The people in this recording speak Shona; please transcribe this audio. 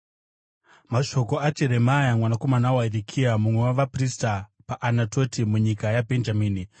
Mashoko aJeremia mwanakomana waHirikia, mumwe wavaprista paAnatoti munyika yaBhenjamini.